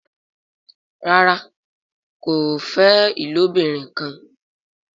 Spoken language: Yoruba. ràrá kò fè ilobirin kán.